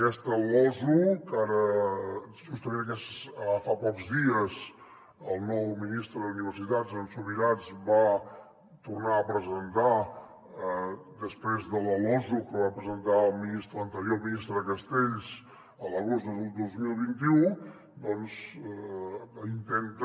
aquesta losu que justament ara fa pocs dies el nou ministre d’universitats en subirats va tornar a presentar després de la losu que va presentar l’anterior ministre castells l’agost del dos mil vint u doncs intenta